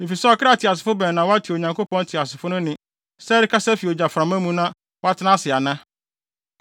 Efisɛ ɔkra teasefo bɛn na wate Onyankopɔn teasefo no nne sɛ ɛrekasa fi ogyaframa no mu na watena ase ana?